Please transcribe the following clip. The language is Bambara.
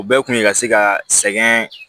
O bɛɛ kun ye ka se ka sɛgɛn